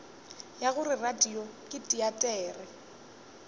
ya gore radio ke teatere